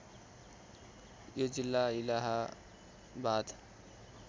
यो जिल्ला इलाहाबाद